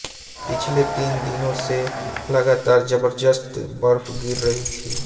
पिछले तीन दिनों से लगातार जबरदस्त बर्फ गिर रही थी